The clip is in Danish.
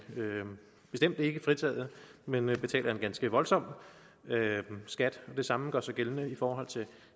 bestemt ikke fritaget men betaler en ganske voldsom skat det samme gør sig gældende i forhold til